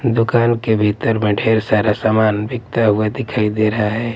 दुकान के भीतर में ढेर सारा सामान बिकता हुआ दिखाई दे रहा है।